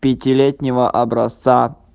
пятилетнего образца